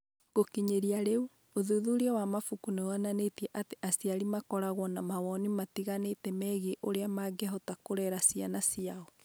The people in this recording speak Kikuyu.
Gũkinyĩria rĩu, ũthuthuria wa mabuku nĩ wonanĩtie atĩ aciari makoragwo na mawoni matiganĩte megiĩ ũrĩa mangĩhota kũrera ciana ciao.